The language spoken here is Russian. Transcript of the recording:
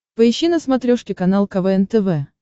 поищи на смотрешке канал квн тв